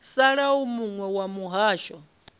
sala u muwe wa mihasho